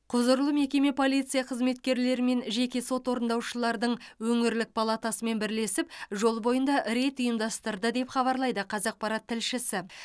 құзырлы мекеме полиция қызметкерлері мен жеке сот орындаушылардың өңірлік палатасымен бірлесіп жол бойында рейд ұйымдастырды деп хабарлайды қазақпарат тілшісі